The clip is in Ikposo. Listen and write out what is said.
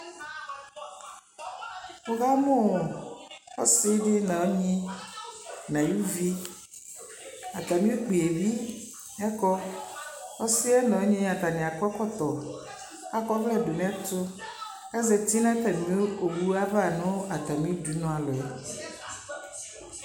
wɔkamʋ ɔsii di nʋ ɔnyi nʋ ayʋ ʋvi, atami ʋkpiɛ bi ɛkɔ, ɔsiiɛ nʋ ɔnyi atami akɔ ɛkɔtɔ kʋ akɔ ɔvlɛ dʋnʋ ɛtʋ kʋ azati nʋ atami ɔwʋ aɣa nʋ atami dʋnʋ alɔ